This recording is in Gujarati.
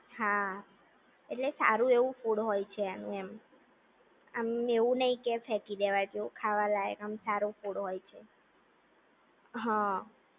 હા, એટલે સારું એવું ફૂડ હોય છે એમનું એમ, આમ એવું નહીં કે ફેંકી દેવા જેવું ખાવા લાયક આમ સારું ફૂડ હોય છે. હા